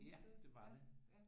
Ja det var det